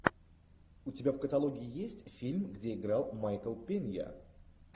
у тебя в каталоге есть фильм где играл майкл пинья